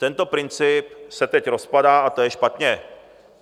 Tento princip se teď rozpadá a to je špatně.